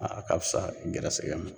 A ka fisa gɛrɛsɛgɛ ma.